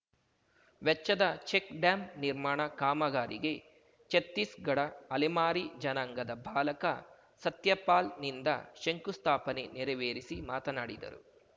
ವೆಚ್ಚದ ಚೆಕ್‌ಡ್ಯಾಂ ನಿರ್ಮಾಣ ಕಾಮಗಾರಿಗೆ ಛತ್ತೀಸ್‌ಗಡ ಅಲೆಮಾರಿ ಜನಾಂಗದ ಬಾಲಕ ಸತ್ಯಪಾಲ್‌ನಿಂದ ಶಂಕುಸ್ಥಾಪನೆ ನೆರವೇರಿಸಿ ಮಾತನಾಡಿದರು